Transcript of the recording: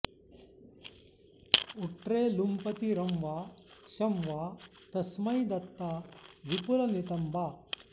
उट्रे लुम्पति रं वा षं वा तस्मै दत्ता विपुलनितम्बा